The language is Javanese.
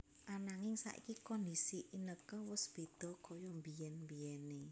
Ananging saiki kondisi Inneke wus bedha kaya mbiyen mbiyené